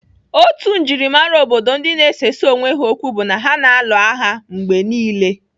Otu njimara obodo ndi na-esesa onwe ha okwu bụ ha na-alụ agha mgbe niile.